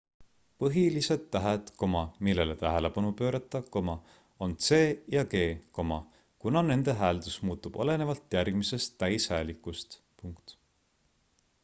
põhilised tähed millele tähelepanu pöörata on c ja g kuna nende hääldus muutub olenevalt järgmisest täishäälikust